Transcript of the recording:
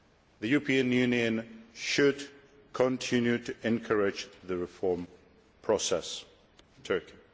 The European Union should continue to encourage the reform process in Turkey.